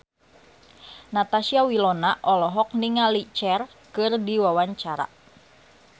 Natasha Wilona olohok ningali Cher keur diwawancara